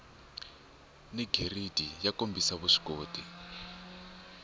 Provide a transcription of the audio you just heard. ni giridi yo kombisa vuswikoti